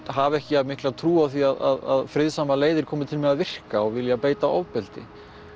hafa ekki jafn mikla trú á því að friðsamar leiðir komi til með að virka og vilja beita ofbeldi